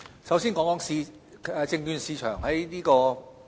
首先談談香港證券市場的變化。